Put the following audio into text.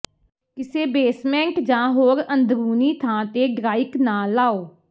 ਕਿਸੇ ਬੇਸਮੈਂਟ ਜਾਂ ਹੋਰ ਅੰਦਰੂਨੀ ਥਾਂ ਤੇ ਡ੍ਰਾਇਕ ਨਾ ਲਾਓ